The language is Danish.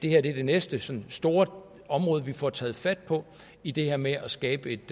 er det næste sådan store område vi får taget fat på i det her med at skabe et